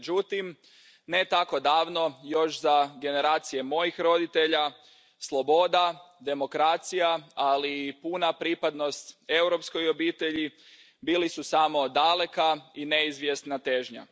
Međutim, ne tako davno, još za generacije mojih roditelja, sloboda, demokracija, ali i puna pripadnost europskoj obitelji bili su samo daleka i neizvjesna težnja.